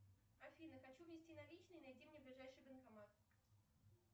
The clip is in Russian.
афина хочу внести наличные найди мне ближайший банкомат